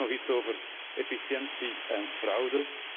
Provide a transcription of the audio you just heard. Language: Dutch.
Tenslotte nog iets over efficiëntie en fraude.